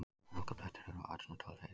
Hálkublettir eru á Öxnadalsheiði